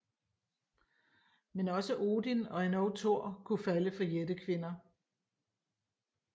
Men også Odin og endog Thor kunne falde for jættekvinder